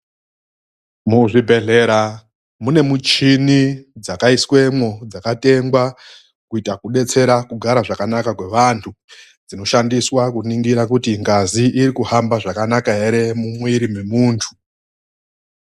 MUZVIBEHLERA MUNE MUCHINI DZAKAISWEMWO, DZAKATENGWA KUITA KUDETSERA KUGARA KWAKANAKA KWEWANTU. DZINOSHANDISWA KUNINGIRA KUTI NGAZI IRIKUHAMBA ZVAKANAKA HERE MUMWIIRI MEMUNTU.